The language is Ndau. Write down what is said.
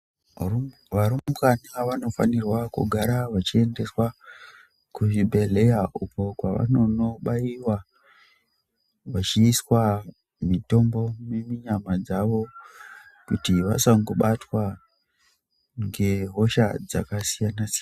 Varumbwana vanofana kugara vachiendeswa kuzvibhehlera uko kwavanobaiwa vachiiswa mutombo munyama dzavo kuti vasangobatwa nehosha dzakasiyana siyana.